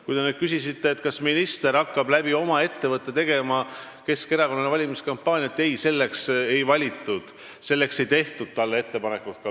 Kui te küsisite, kas minister hakkab oma ettevõtte abil tegema Keskerakonnale valimiskampaaniat, siis ei, selleks ei teinud ma talle ettepanekut.